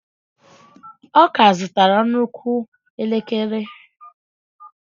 Ọ ka zụtara nnukwu elekere.